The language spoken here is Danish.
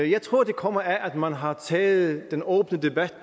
jeg tror det kommer af at man har taget den åbne debat